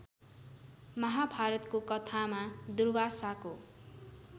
महाभारतको कथामा दुर्वासाको